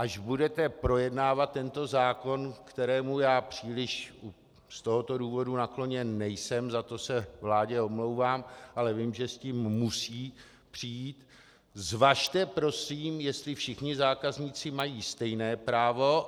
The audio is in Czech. Až budete projednávat tento zákon, kterému já příliš z tohoto důvodu nakloněn nejsem, za to se vládě omlouvám, ale vím, že s tím musí přijít, zvažte prosím, jestli všichni zákazníci mají stejné právo.